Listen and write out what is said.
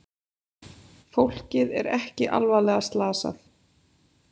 Fólkið er ekki alvarlega slasað